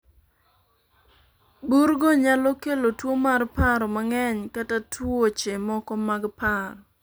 bur go nyalo kelo tuo mar paro mang'eny kata tuoche moko mag paro